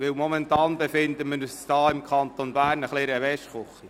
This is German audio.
Momentan befinden wir uns im Kanton Bern in einer Waschküche.